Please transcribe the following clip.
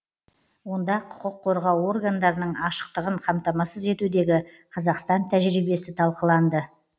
онда құқық қорғау органдарының ашықтығын қамтамасыз етудегі қазақстан тәжірибесі талқыланды